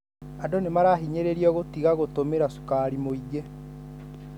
Andũ nĩmarahinyĩrĩrio gũtiga gũtumira sukari mwingĩ.